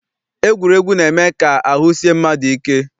Egwuregwu na-eme ka ahụ sie mmadụ ike.